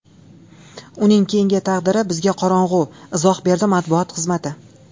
Uning keyingi taqdiri bizga qorong‘u”, izoh berdi matbuot xizmati.